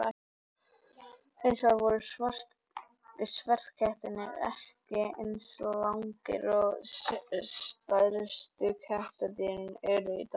Hins vegar voru sverðkettirnir ekki eins langir og stærstu kattardýrin eru í dag.